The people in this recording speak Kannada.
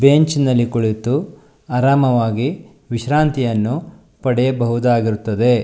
ಬೆಂಚ್ ನಲ್ಲಿ ಕುಳಿತು ಆರಾಮವಾಗಿ ವಿಶ್ರಾಂತಿಯನ್ನು ಪಡೆಯಬಹುದಾಗಿರುತ್ತದೆ.